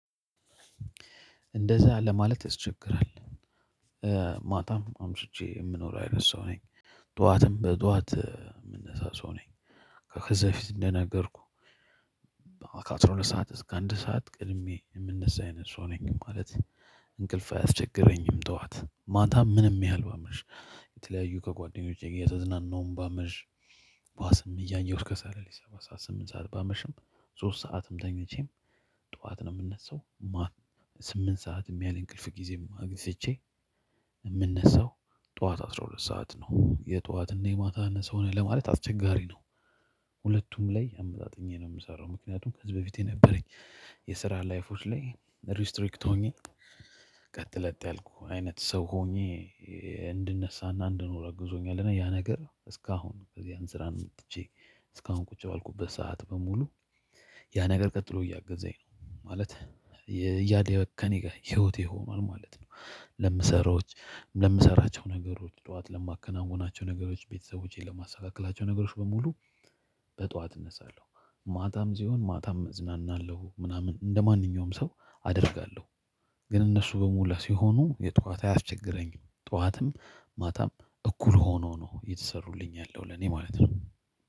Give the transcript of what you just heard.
እንደዛ ለማለት አስቸግራለሁ ማታም አምስቼ የምኖረው አይነት ሰው ነኝ። ጠዋትም በጠዋት የምንሰሳው ሰው ነኝ። ከከዛ በፊት እንደነገርኩ። ከአስራ ሁለት ሰዓት እስከ አንድ ሰዓት ቅድሜ የምነሳ አይነት ሰው ነኝ። ማለት እንቅልፍ አያስቸግረኝም። ጠዋት ማታ ምንም ያህል ባመሽ። የተለያዩ ከጓደኞቼ ጋር የተዝናናውም ባመሽ። ባስም እያየሁት ከሳለ ሰባ ሰዓት ስምንት ሰዓት ባመሽም ሶስት ሰዓትም ተኝቼም። ጠዋት ነው የምነሳው ማት። ስምንት ሰዓት ያለ እንቅልፍ ጊዜ አግዝቼ። የምነሳው ጠዋት አስራ ሁለት ሰዓት ነው። የጧትና የማታና ሰው ነህ ለማለት አስቸጋሪ ነው። ሁለቱም ላይ አመጣጥኘ ነው የምሰራው። ምክንያቱም ከዚህ በፊት የነበረኝ የስራ ላይፎች ላይ ሪስትሪክት ሆኜ። ቀጥለጥ ያልኩ አይነት ሰው ሆኜ እንዲነሳ እና እንዲኖር አግዞኛል። ያ ነገር እስከአሁን ከዚያም ስራ ወጥቼ። እስካሁን ቁጭ ባልኩበት ሰዓት በሙሉ ያ ነገር ቀጥሎ እያገዛኝ ነው። ማለት ከእኔ ጋር ህይወት ይሆናል ማለት ነው። ለምሰራዎች ለምሰራቸው ነገሮች ጧት ለማከናውናቸው ነገሮች ቤተሰቦቼን ለማሳካከላቸው ነገሮች በሙሉ። በጧት እነሳለሁ ማታም ሲሆን ማታም እዝናናለሁ ምናምን እንደማንኛውም ሰው አደርጋለሁ። ግን እነሱ በሞላ ሲሆኑ የጧት አያስቸግረኝም ጧትም ማታም እኩል ሆኖ ነው የተሰሩልኝ ያለው ለኔ ማለት ነው።